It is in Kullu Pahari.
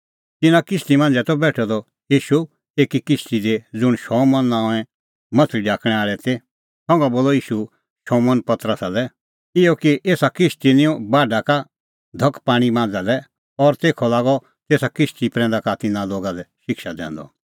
तिन्नां किश्ती मांझ़ै बेठअ ईशू एकी किश्ती दी ज़ुंण शमौन नांओंए माह्छ़ली ढाकणैं आल़े ती संघा बोलअ ईशू शमौन पतरसा लै इहअ कि एसा किश्ती निंऊं बाढै का धख पाणीं मांझ़ा लै और तेखअ लागअ तेसा किश्ती प्रैंदा का तिन्नां लोगा लै शिक्षा दैंदअ